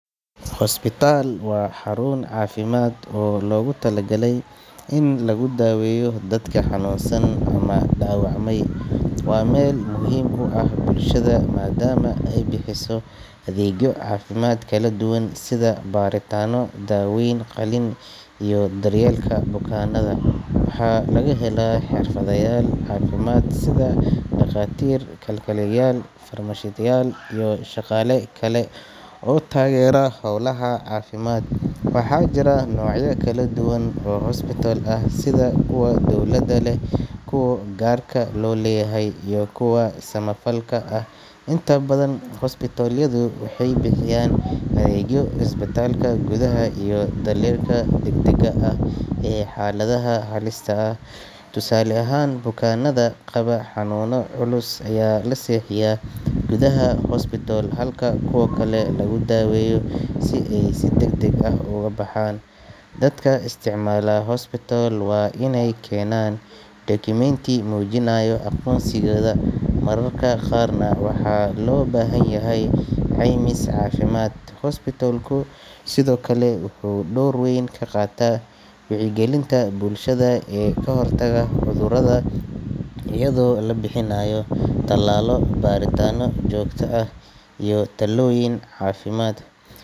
Hospital waa xarun caafimaad oo loogu talagalay in lagu daweeyo dadka xanuunsan ama dhaawacmay. Waa meel muhiim u ah bulshada maadaama ay bixiso adeegyo caafimaad oo kala duwan sida baaritaanno, daaweyn, qalliin iyo daryeelka bukaanada. Waxaa laga helaa xirfadlayaal caafimaad sida dhakhaatiir, kalkaaliyayaal, farmashiistayaal iyo shaqaale kale oo taageera hawlaha caafimaad. Waxaa jira noocyo kala duwan oo hospital ah sida kuwa dowladda leh, kuwa gaarka loo leeyahay iyo kuwa samafalka ah. Inta badan hospital-yadu waxay bixiyaan adeegyo isbitaalka gudaha iyo daryeelka degdegga ah ee xaaladaha halista ah. Tusaale ahaan, bukaanada qaba xanuuno culus ayaa la seexiyaa gudaha hospital halka kuwa kale lagu daweeyo oo ay si degdeg ah uga baxaan. Dadka isticmaala hospital waa inay keenaan dukumenti muujinaya aqoonsigooda, mararka qaarna waxaa loo baahan yahay caymis caafimaad. Hospital-ku sidoo kale wuxuu door weyn ka qaataa wacyigelinta bulshada ee ka hortagga cudurrada iyadoo la bixinayo talaalo, baaritaanno joogto ah iyo talooyin caafimaad.